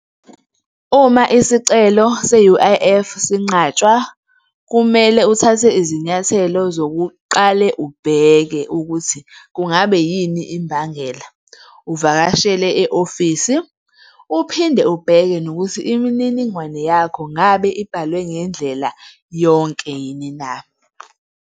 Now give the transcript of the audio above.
Uma isicelo se-U_I_F sinqatshwa, kumele uthathe izinyathelo zokuqale ubheke ukuthi kungabe yini imbangela, uvakashele e-ofisi, uphinde ubheke nokuthi imininingwane yakho ngabe ibhalwe ngendlela yonke yini na.